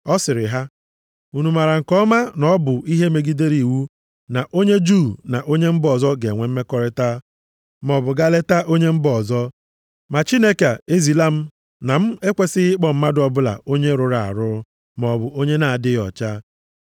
Ọ sịrị ha, “Unu maara nke ọma na ọ bụ ihe megidere iwu na onye Juu na onye mba ọzọ ga-enwe mmekọrịta maọbụ gaa leta onye mba ọzọ. Ma Chineke ezila m na m ekwesighị ịkpọ mmadụ ọbụla onye rụrụ arụ maọbụ onye na-adịghị ọcha.